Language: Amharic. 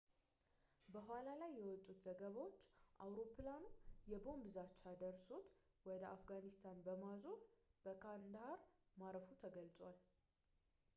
በኋላ ላይ የውጡት ዘገባዎች አውሮፕላኑ የቦንብ ዛቻ ደርሶት ወደ አፍጋኒስታን በማዞር በካንዳሃር ማረፉ ተገልጿል